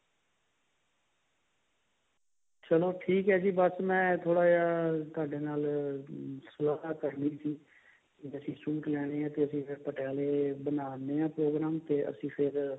ਚੱਲੋ ਠੀਕ ਹੈ ਜੀ ਬਸ ਮੈਂ ਥੋੜਾ ਜਾ ਤੁਹਾਡੇ ਨਾਲ ਸਲਾਹ ਕਰਨੀ ਸੀ ਜੇ ਅਸੀਂ suit ਲੈਨੇ ਹੈ ਤੇ ਅਸੀਂ ਫੇਰ ਪਟਿਆਲੇ ਬਣਾਦੇ ਆ program ਤੇ ਅਸੀਂ ਫੇਰ